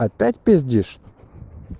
опять пиздишь